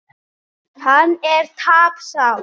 Hann er tapsár.